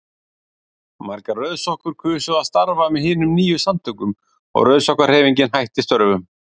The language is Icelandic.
Margar rauðsokkur kusu að starfa með hinum nýju samtökum og Rauðsokkahreyfingin hætti störfum.